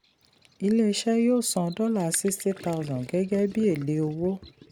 ilé-iṣẹ yóò san $60000 gẹ́gẹ́ bí èlé owó.